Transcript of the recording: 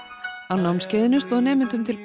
á námskeiðinu stóð nemendum til